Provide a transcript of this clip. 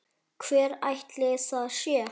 Hver ætli það sé?